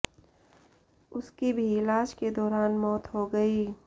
उसकी भी इलाज के दौरान मौत हो गई